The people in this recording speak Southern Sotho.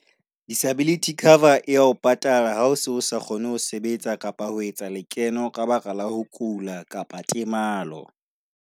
Disability cover ya ho patala ha o sa kgone ho sebetsa kapa ho etsa lekeno ka baka la ho kula kapa temalo.